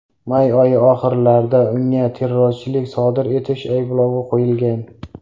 May oyi oxirlarida unga terrorchilik sodir etish ayblovi qo‘yilgan.